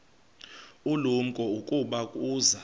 ulumko ukuba uza